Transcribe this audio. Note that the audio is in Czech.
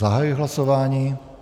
Zahajuji hlasování.